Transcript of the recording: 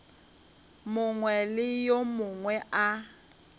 mongwe le yo mongwe a